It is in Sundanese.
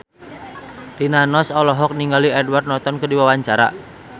Rina Nose olohok ningali Edward Norton keur diwawancara